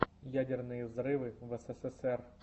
ядерные взрывы в эсэсэсэр